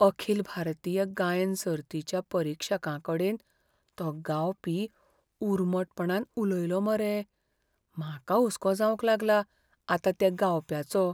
अखिल भारतीय गायन सर्तीच्या परीक्षकांकडेन तो गावपी उर्मटपणान उलयलो मरे, म्हाका हुस्को जावंक लागला आतां त्या गावप्याचो.